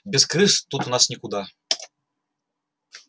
без крыс тут у нас никуда